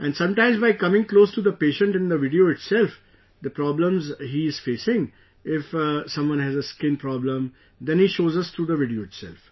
And sometimes, by coming close to the patient in the video itself, the problems he is facing, if someone has a skin problem, then he shows us through the video itself